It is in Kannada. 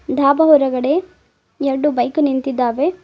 ಡಾಬ ಹೊರಗಡೆ ಎರ್ಡು ಬೈಕು ನಿಂತಿದ್ದಾವೆ.